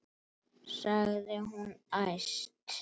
sagði hún æst.